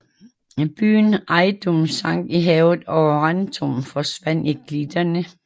Byen Ejdum sank i havet og Rantum forsvandt i klitterne